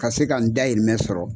Ka se ka n dahirimɛ sɔrɔ.